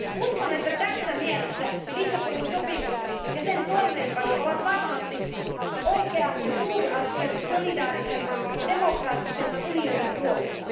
Uskon, että tässä mielessä Lissabonin sopimus ja sen toimeenpano ovat varmasti oikea ja suuri askel solidaarisemman ja demokraattisemman unionin puolesta.